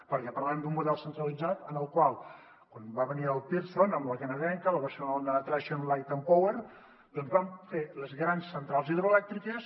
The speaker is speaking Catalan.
perquè parlem d’un model centralitzat en el qual quan va venir el pearson amb la canadenca la barcelona traction light and power doncs van fer les grans centrals hidroelèctriques